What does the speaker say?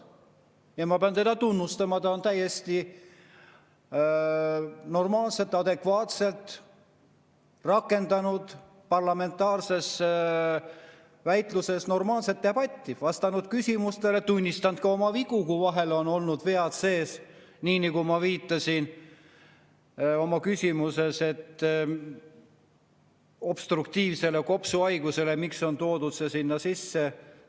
Ja ma pean teda tunnustama, ta on täiesti adekvaatselt rakendanud parlamentaarses väitluses normaalset debatti, vastanud küsimustele ja tunnistanud ka oma vigu, kui vahel on olnud vead sees, nii nagu ma viitasin obstruktiivsele kopsuhaigusele ja küsisin, miks see on toodud sinna sisse.